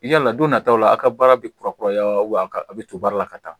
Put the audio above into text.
Yala don nataw la a ka baara bɛ kurakuraya wa a bɛ to baara la ka taa